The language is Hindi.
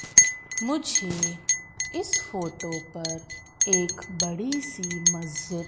मुझे इस फोटो पर एक बड़ी सी मस्जिद--